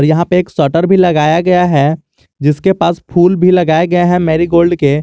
यहां पे एक शटर भी लगाया गया है जिसके पास फूल भी लगाया गया है मेरीगोल्ड के।